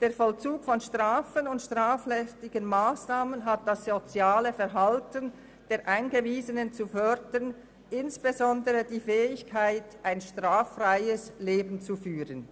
«Der Vollzug von Strafen und strafrechtlichen Massnahmen hat das soziale Verhalten der Eingewiesenen zu fördern, insbesondere die Fähigkeit, ein straffreies Leben zu führen».